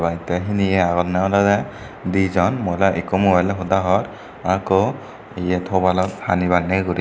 te hiniye agonne olode di jon mohila ikko mobile loi hoda hor aa ikko eyet hobalot hani banney guri.